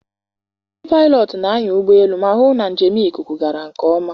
Ndị paịlọt na-anya ụgbọelu ma hụ na njem ikuku gara nke ọma.